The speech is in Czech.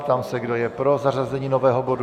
Ptám se, kdo je pro zařazení nového bodu.